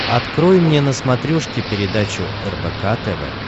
открой мне на смотрешке передачу рбк тв